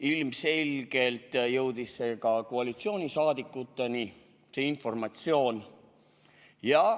Ilmselgelt jõudis ka koalitsioonisaadikuteni see informatsioon.